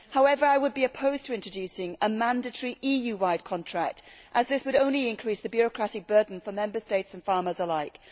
However, I would be opposed to introducing a mandatory EU wide contract, as this would only increase the bureaucratic burden for Member States and farmers alike.